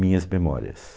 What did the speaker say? Minhas Memórias.